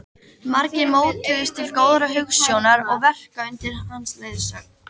Margir mótuðust til góðrar hugsjónar og verka undir hans leiðsögn.